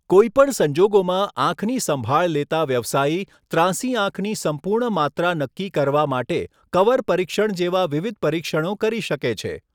કોઈ પણ સંજોગોમાં, આંખની સંભાળ લેતાં વ્યવસાયી ત્રાંસી આંખની સંપૂર્ણ માત્રા નક્કી કરવા માટે કવર પરીક્ષણ જેવા વિવિધ પરીક્ષણો કરી શકે છે.